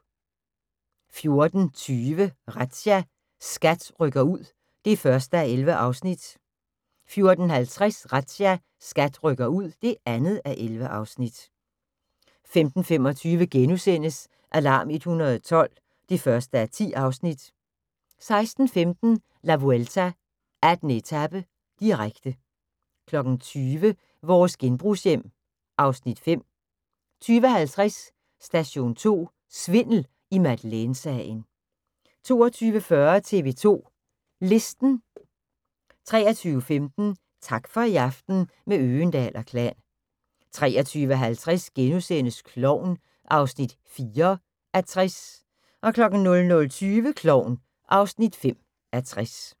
14:20: Razzia – SKAT rykker ud (1:11) 14:50: Razzia – SKAT rykker ud (2:11) 15:25: Alarm 112 (1:10)* 16:15: La Vuelta: 18. etape, direkte 20:00: Vores genbrugshjem (Afs. 5) 20:50: Station 2: Svindel i Madeleine-sagen 22:40: TV 2 Listen 23:15: Tak for i aften – med Øgendahl & Klan 23:50: Klovn (4:60)* 00:20: Klovn (5:60)